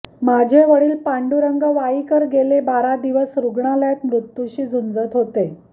माझे वडील पांडुरंग वाईकर गेले बारा दिवस रुग्णालयात मृत्यूशी झुंजत होते